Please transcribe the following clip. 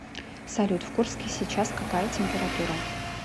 салют в курске сейчас какая температура